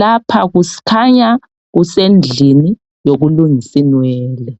.Lapha kukhanya kusendlini yolungisinwele.